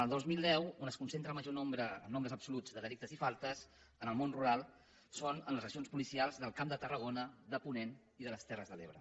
el dos mil deu on es concentra el major nombre en nombres absoluts de delictes i faltes en el món rural és en les regions policials del camp de tarragona de ponent i de les terres de l’ebre